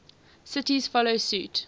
cities follow suit